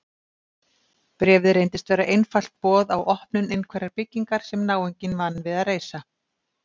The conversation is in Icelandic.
Bréfið reynist vera einfalt boð á opnun einhverrar byggingar sem náunginn vann við að reisa.